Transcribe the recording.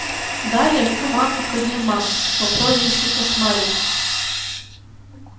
далее в команду входил макс по прозвищу кошмарик